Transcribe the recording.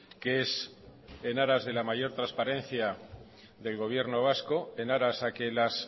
que es en aras de la mayor transparencia del gobierno vasco en aras a que las